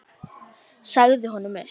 Sagði honum upp.